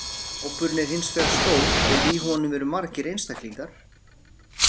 Hópurinn er hins vegar stór ef í honum eru margir einstaklingar.